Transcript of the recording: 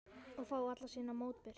Og fá allan sinn mótbyr.